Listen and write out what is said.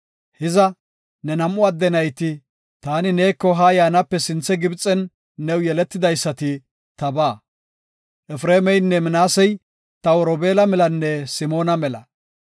“Hiza, ne nam7u adde nayti, taani neeko haa yaanape sinthe Gibxen new yeletidaysati tabaa. Efreemeynne Minaasey taw Robeela melanne Simoona mela.